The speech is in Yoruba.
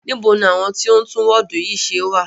Níbo ní àwọn tí o ń tún wọ́ọ̀du yìí ṣe wà?